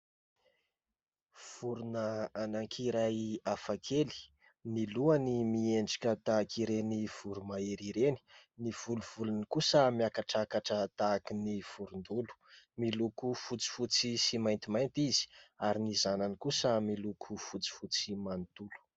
Vorona anakiray hafa kely ny lohany miendrika tahaka ireny voromahery ireny. Ny volovolony kosa miakatrakatra tahaka ny vorondolo. Miloko fotsy fotsy sy mainty mainty izy ary ny zanany kosa miloko fotsy fotsy manontolo.